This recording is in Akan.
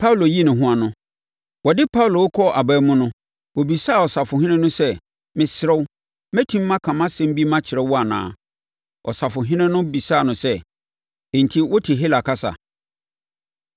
Wɔde Paulo rekɔ aban mu no, ɔbisaa ɔsafohene no sɛ, “Mesrɛ wo, mɛtumi maka asɛm bi makyerɛ wo anaa?” Ɔsafohene no nso bisaa no sɛ, “Enti, wote Hela kasa?